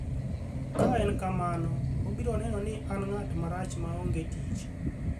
Ka en kamano, obiro neno ni an ng’at marach ma ongee tich.